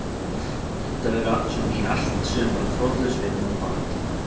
Þetta verður svona í allt sumar þrotlaus vinna og barátta.